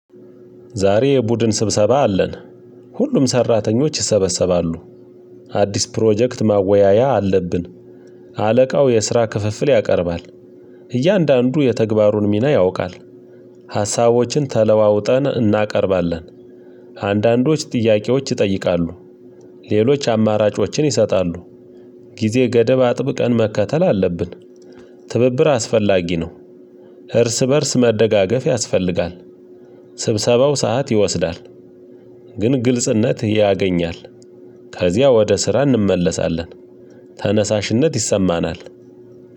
ዛሬ የቡድን ስብሰባ አለን። ሁሉም ሰራተኞች ይሰበሰባሉ። አዲስ ፕሮጀክት ማወያያ አለብን። አለቃው የስራ ክፍፍል ያቀርባል። እያንዳንዱ የተግባሩን ሚና ያውቃል። ሀሳቦችን ተለዋውጠን እናቀርባለን። አንዳንዶች ጥያቄዎች ይጠይቃሉ። ሌሎች አማራጮችን ይሰጣሉ። ጊዜ ገደብ አጥብቀን መከተል አለብን። ትብብር አስፈላጊ ነው። እርስ በእርስ መደጋገፍ ያስፈልጋል። ስብሰባው ሰዓት ይወስዳል። ግን ግልጽነት ያገኛል። ከዚያ ወደ ስራ እንመለሳለን። ተነሳሽነት ይሰማናል።